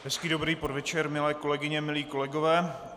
Hezký dobrý podvečer, milé kolegyně, milí kolegové.